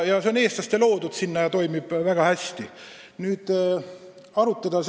See on eestlaste loodud ja toimib väga hästi!